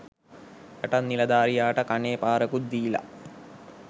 යටත් නිලධාරියට කනේ පාරකුත් දීල